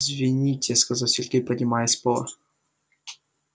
извините сказал сергей поднимаясь с пола